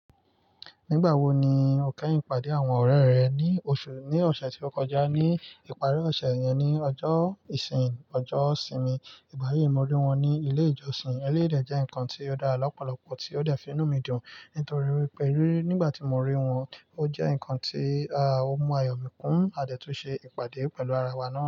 Nígbà wo ni o kẹ́yìn pàdé àwọn ọ̀rẹ́ rẹ? Ní ọ̀sẹ̀, ní ọ̀sẹ̀ tí ó kọjá, ní ìparí ọ̀sẹ̀ yẹn ní ọjọ́ ìsín, ọjọ́ ìsinmi. Ìgbà yíì, mo rí wọn ní ilé ìjọsìn. Eléyìí dẹ̀ jẹ́ nǹkan tí ó dára lọ́pọ̀lọpọ̀ tí ó dẹ̀ fi inú mi dùn nítorí pé nígbà tí mo rí wọn, ó jẹ́ nǹkan tí ó mú ayọ̀ mi kún, a dẹ̀ tún ṣe ìpàdé pẹ̀lú ara wa náà.